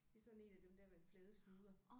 Det er sådan én af dem der med flade snuder